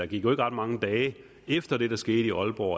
gik ret mange dage efter det der skete i aalborg